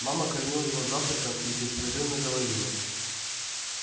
мама кормила его завтраком и беспрерывно говорила